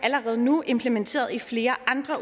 allerede nu implementeret i flere andre